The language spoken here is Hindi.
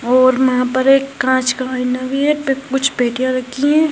और यहाँ पर एक काँच का आयना भी है पे कुछ पेटिया रखी है।